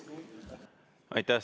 Aitäh!